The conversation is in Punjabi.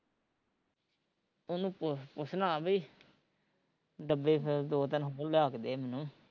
ਉਹਨੂੰ ਪੁੱਛ ਪੁੱਛਣਾ ਬਈ ਡੱਬੇ ਫਿਰ ਦੋ ਤਿੰਨ ਹੋਰ ਲਿਆ ਕੇ ਦੇ ਮੈਨੂੰ